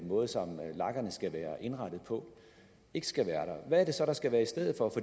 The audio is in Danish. måde som lagerne skal være indrettet på ikke skal være der hvad er det så der skal være i stedet for